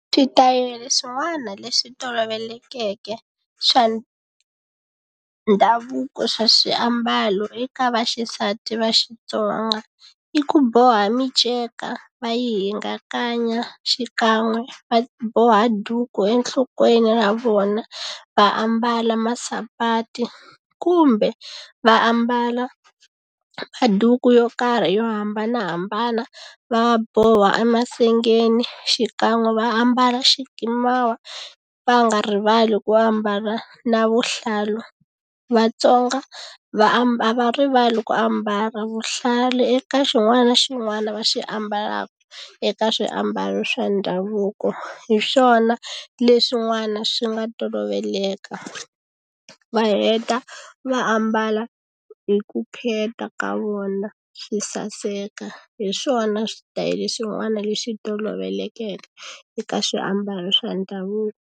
Switayele swin'wana leswi tolovelekeke swa ndhavuko swa swiambalo eka vaxisati va Xitsonga i ku boha minceka va yi hingakanya xikan'we va boha duku enhlokweni ra vona va ambala masapati kumbe va ambala maduku yo karhi yo hambanahambana va boha emasengeni xikan'we va ambala xikimawa va nga rivali ku ambala na vuhlalu Vatsonga a va rivali ku ambala vuhlalu eka xin'wana na xin'wana va xi ambalaka eka swiambalo swa ndhavuko hi swona leswin'wana swi nga toloveleka va heta va ambala hi ku khetha ka vona swi saseka hi swona switayele swin'wana leswi tolovelekeke eka swiambalo swa ndhavuko.